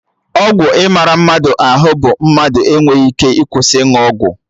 Ọgwụ ịmara mmadụ ahụ bụ mmadụ enweghị ike ịkwụsị ịnụ ọgwụ